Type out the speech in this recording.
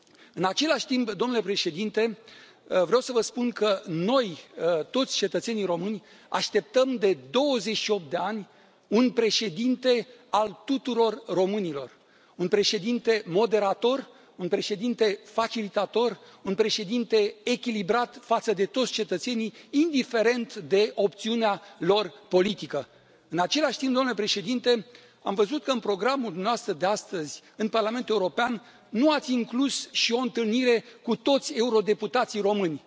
În același timp, domnule Președinte, vreau să vă spun că noi, toți cetățenii români, așteptăm de 28 de ani un președinte al tuturor românilor, un președinte moderator, un președinte facilitator, un președinte echilibrat față de toți cetățenii, indiferent de opțiunea lor politică. În același timp, domnule Președinte, am văzut că în programul dumneavoastră de astăzi în Parlamentul European nu ați inclus și o întâlnire cu toți eurodeputații români.